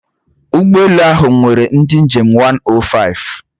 Ụgbọ elu ahụ nwere ndị njem 105